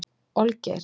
Olgeir